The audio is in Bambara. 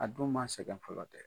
A dum ma sɛgɛn fɔlɔ